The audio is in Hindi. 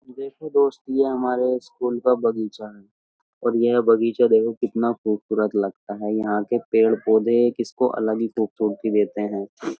देखो दोस्त ये हमारे स्कूल का बगीचा है और यह बागीचा कितना खूबसूरत लगता है। यहाँ के पेड़-पौधे इसको एक अलग ही ख़ूबसूरती देते हैं।